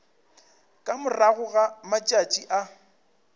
ka morago ga matšatši a